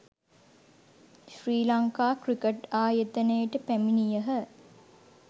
ශ්‍රී Lanka cricket ආයතනයට පැමිණියහ